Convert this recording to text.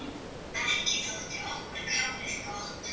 Ekki þótti okkur kálið gott.